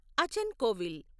అచన్ కోవిల్